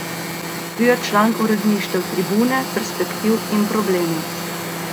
Bil je član uredništev Tribune, Perspektiv in Problemov.